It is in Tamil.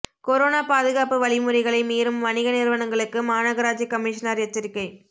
கொரோனா பாதுகாப்பு வழிமுறைகளை மீறும் வணிக நிறுவனங்களுக்கு மாநகராட்சி கமிஷனர் எச்சரிக்கை